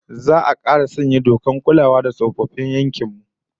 Za'a kara sanya dokar kulawa da tsofaffin yankin mu kaf